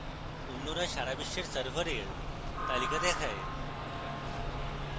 অন্যরা সারা বিশ্বের servers তালিকা দেখায়